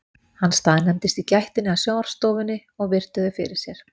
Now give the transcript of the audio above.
Hann staðnæmdist í gættinni að sjónvarpsstofunni og virti þau fyrir sér.